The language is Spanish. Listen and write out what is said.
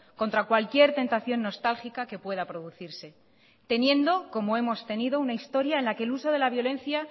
contra cualquier tentación nostálgica que pueda producirse teniendo como hemos tenido una historia en la que el uso de la violencia